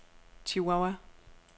Chihuahua